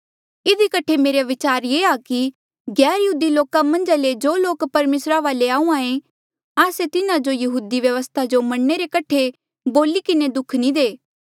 इधी कठे मेरा विचार ये आ कि गैरयहूदी लोका मन्झा ले जो लोक परमेसरा वाले आहूँआं ऐें आस्से तिन्हा जो यहूदी व्यवस्था जो मनणे रे कठे बोली किन्हें दुःख नी दे